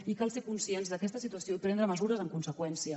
i cal ser conscients d’aquesta situació i prendre mesures en conseqüència